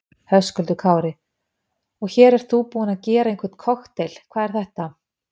Höskuldur Kári: Og hér ert þú búinn að gera einhvern kokteil, hvað er þetta?